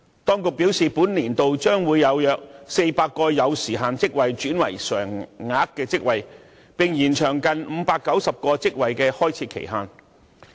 當局表示，本年度將會有約400個有時限職位轉為常額職位，並延長近590個職位的開設期限。